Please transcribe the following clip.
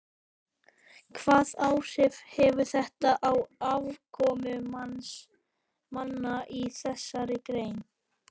Hvaða áhrif hefur þetta á afkomu manna í þessari grein?